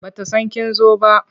Ba ta san kin zo ba.